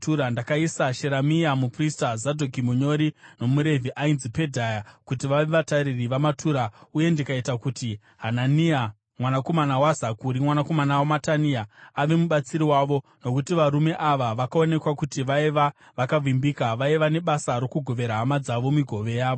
Ndakaisa Sheremia muprista, Zadhoki munyori, nomuRevhi ainzi Pedhaya kuti vave vatariri vamatura uye ndikaita kuti Hanania, mwanakomana waZakuri, mwanakomana waMatania, ave mubatsiri wavo, nokuti varume ava vakaonekwa kuti vaiva vakavimbika. Vaiva nebasa rokugovera hama dzavo migove yavo.